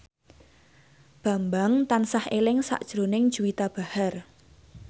Bambang tansah eling sakjroning Juwita Bahar